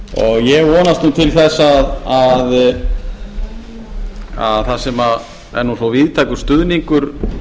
ég vonast nú til þess að það sem er nú svo víðtækur stuðningur